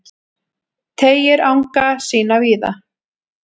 Teygir anga sína víða